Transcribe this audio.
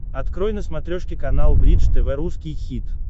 открой на смотрешке канал бридж тв русский хит